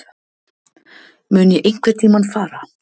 Mun ég einhverntímann fara?